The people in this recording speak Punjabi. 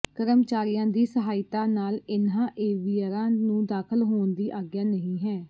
ਕਰਮਚਾਰੀਆਂ ਦੀ ਸਹਾਇਤਾ ਨਾਲ ਇਹਨਾਂ ਏਵੀਅਰਾਂ ਨੂੰ ਦਾਖ਼ਲ ਹੋਣ ਦੀ ਆਗਿਆ ਨਹੀਂ ਹੈ